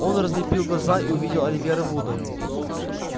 он разлепил глаза и увидел оливера вуда